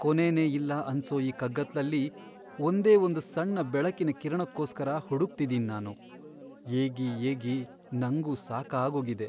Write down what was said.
ಕೊನೆನೇ ಇಲ್ಲ ಅನ್ಸೋ ಈ ಕಗ್ಗತ್ಲಲ್ಲಿ ಒಂದೇ ಒಂದ್ ಸಣ್ಣ ಬೆಳಕಿನ್ ಕಿರಣಕ್ಕೋಸ್ಕರ ಹುಡುಕ್ತಿದೀನ್ ನಾನು.. ಏಗಿ ಏಗಿ ನಂಗೂ ಸಾಕಾಗೋಗಿದೆ.